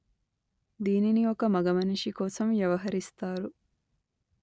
దీనిని ఒక మగమనిషి కోసం వ్యవహరిస్తారు